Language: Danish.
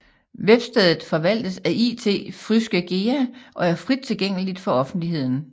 Webstedet forvaltes af It Fryske Gea og er frit tilgængeligt for offentligheden